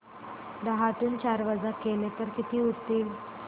दहातून चार वजा केले तर किती उरतील